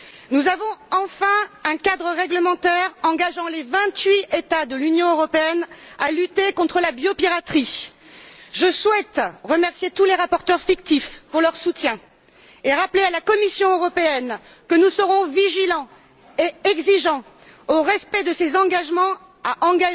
Nous avons enfin un cadre réglementaire qui engage les vingt huit États de l'Union européenne à lutter contre la biopiraterie. Je souhaite remercier tous les rapporteurs fictifs pour leur soutien et rappeler à la Commission européenne que nous serons vigilants et exigeants quant au respect de ses engagements à élaborer